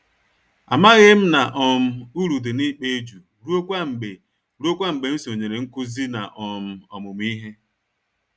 Amaghịm na um uru dị n'ịkpa eju ruokwa mgbe ruokwa mgbe m sonyere nkụzi na um ọmụmụ ìhè.